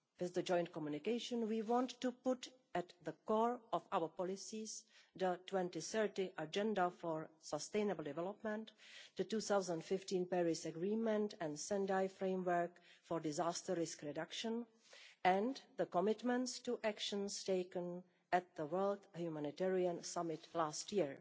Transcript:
With the joint communication we want to put at the core of our policies the 2030 Agenda for Sustainable Development, the 2015 Paris Agreement, the Sendai Framework for Disaster Risk Reduction and the commitments to action made at the World Humanitarian Summit last year.